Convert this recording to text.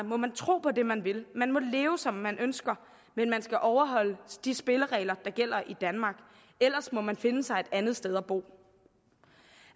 må man tro på det man vil man må leve som man ønsker men man skal overholde de spilleregler der gælder i danmark ellers må man finde sig et andet sted at bo